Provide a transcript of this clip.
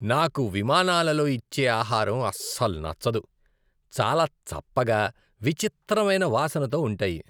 నాకు విమానాలలో ఇచ్చే ఆహారం అస్సలు నచ్చదు. చాలా చప్పగా, విచిత్రమైన వాసనతో ఉంటాయి.